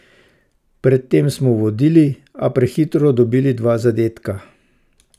Pred tem smo vodili, a prehitro dobili dva zadetka.